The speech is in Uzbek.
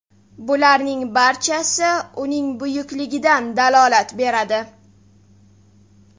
Bularning barchasi uning buyukligidan dalolat beradi.